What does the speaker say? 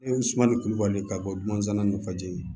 E suman nin kulubali ka bɔ dunana ni fajiri ye